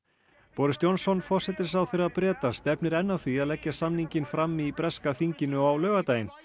boris Johnson forsætisráðherra Breta stefnir enn að því að leggja samninginn fram í breska þinginu á laugardaginn